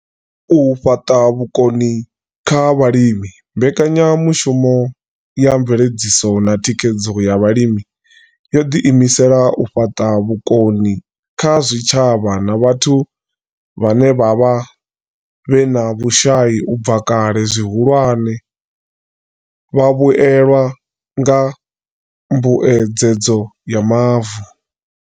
U fhaṱa vhukoni kha vhalimi mbekanyamushumo ya mveledziso na thikhedzo ya vhalimi yo ḓiimisela u fhaṱa vhukoni kha zwitshavha na vhathu vhone vhaṋe vhe vha vha vhe na vhushai u bva kale, zwihulwane, vhavhuelwa nga mbuedzedzo ya mavu.